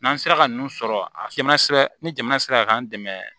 N'an sera ka ninnu sɔrɔ ni jamana sera k'an dɛmɛ